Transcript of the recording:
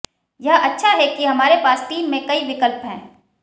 यह अच्छा है कि हमारे पास टीम में कई विकल्प हैं